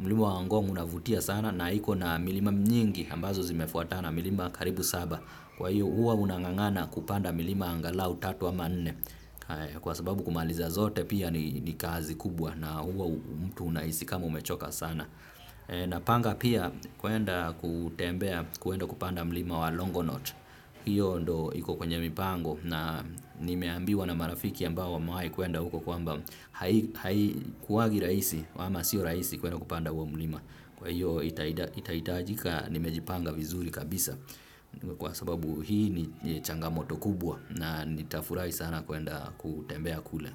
Mlima wa ngong' unavutia sana na iko na milima mnyingi ambazo zimefuatana milima karibu saba. Kwa hiyo huwa unang'ang'ana kupanda milima angalau tatu ama nne kwa sababu kumaliza zote pia ni kazi kubwa na huwa mtu unahisi kama umechoka sana. Napanga pia kuenda kutembea kuenda kupanda mlima wa Long'onot. Hiyo ndio iko kwenye mipango na nimeambiwa na marafiki ambao wamewahi kuenda huko kwamba haikuwangi rahisi ama sio rahisi kuenda kupanda huo mlima. Kwa hiyo itahitajika nimejipanga vizuri kabisa. Kwa sababu hii ni changamoto kubwa na nitafurahi sana kuenda kutembea kule.